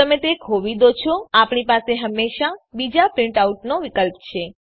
જો તમે તે ખોવી દો છો આપણી પાસે હંમેશાં બીજા પ્રીંટ આઉટનો વિકલ્પ છે